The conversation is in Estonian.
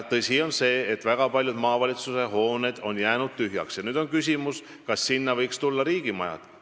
Tõsi on see, et väga paljud maavalitsuste hooned on jäänud tühjaks, ja nüüd on küsimus, kas sinna võiks tulla riigimajad.